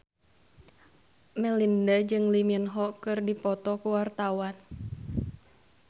Melinda jeung Lee Min Ho keur dipoto ku wartawan